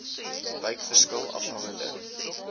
wyk verskil afhangende